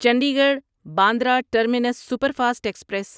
Chandigarh Bandra terminus superfast express